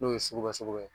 N'o ye sugubɛ sugubɛ ye